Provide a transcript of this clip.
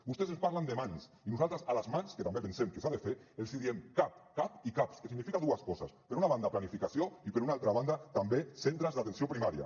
vostès ens parlen de mans i nosaltres a les mans que també pensem que s’ha de fer els diem cap cap i caps que significa dues coses per una banda planificació i per una altra banda també centres d’atenció primària